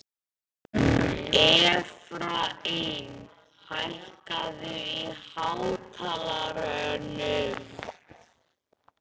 Efraím, hækkaðu í hátalaranum.